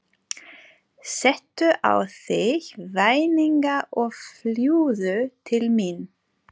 Settu á þig vængina og fljúgðu til mín.